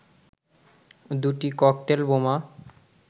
দুটি ককটেল বোমা